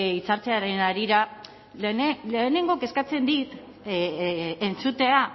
hitzartzearen harira lehenengo kezkatzen dit entzutea